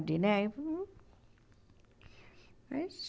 De né hum mas